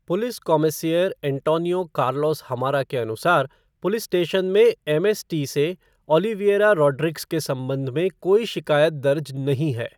Police कॉमिसेयर Antonio Carlos हमारा के अनुसार, पुलिस स्टेशन में एमएसटी से ऑलिविएरा रॉड्रिग्स के संबंध में कोई शिकायत दर्ज नहीं हैं।